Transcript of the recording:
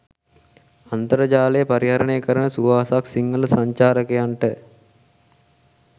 අන්තර්ජාලය පරිහරණය කරන සුවහසක් සිංහල සංචාරකයන්ට